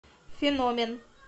феномен